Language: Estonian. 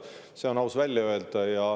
See on aus välja öelda.